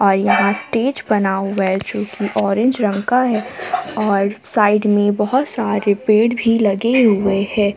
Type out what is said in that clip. और यहां स्टेज बना हुआ है जो कि औरेंज रंग का है और साइड में बहुत सारे पेड़ भी लगे हुए है।